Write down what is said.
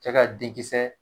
Cɛ ka de kisɛ